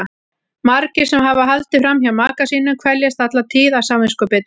Margir sem hafa haldið fram hjá maka sínum kveljast alla tíð af samviskubiti.